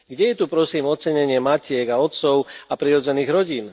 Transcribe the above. Kde je tu, prosím, ocenenie matiek a otcov a prirodzených rodín?